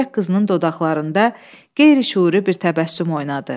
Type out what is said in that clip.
Zeybək qızının dodaqlarında qeyri-şüuri bir təbəssüm oynadı.